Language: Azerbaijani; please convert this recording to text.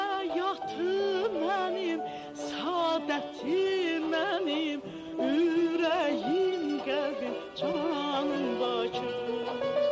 Həyatım mənim səadətim mənim, ürəyim qəlbim canım Bakı.